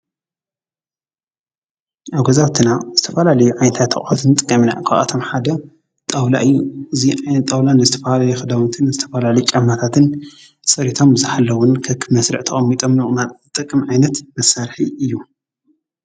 ኣገዛትና እስተፈላልዩ ዓይንታይ ተውዖትን ጥቀምና ኽኣቶም ሓደ ጣውላእዩ እዙይጣውላ ስትፍልይኽደሙትን ንዝተፈላል ጨማታትን ሠሪቶም ዝሓለዉን ከክ መሥርዕ ተቐሚጠምኖኡና ጠቕሚ ዓይነት መሣርሒ እዩ።